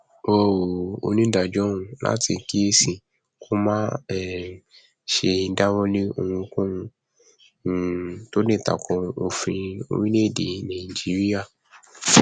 wọn rọ onídàájọ ọhún láti kíyèsára kó má um sì ṣe dáwọ lé ohunkóhun um tó lè takò òfin orílẹèdè nàìjíríà